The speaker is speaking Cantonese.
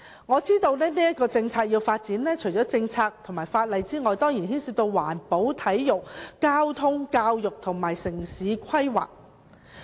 我知道要發展這項政策，除了政策和法例的問題外，當然亦涉及環保、體育、交通、教育及城市規劃。